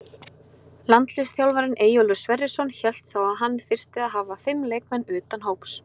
Landsliðsþjálfarinn Eyjólfur Sverrisson hélt þá að hann þyrfti að hafa fimm leikmenn utan hóps.